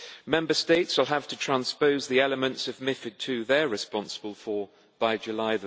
Member States will have to transpose the elements of MiFID II they are responsible for by 3 July